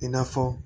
I n'a fɔ